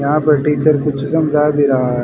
यहां पे टीचर कुछ समझा भी रहा--